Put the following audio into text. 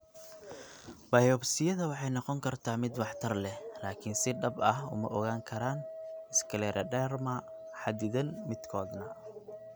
Biopsiyada waxay noqon kartaa mid waxtar leh, laakiin si dhab ah uma ogaan karaan scleroderma xaddidan midkoodna.